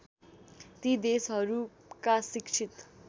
ती देशहरूका शिक्षित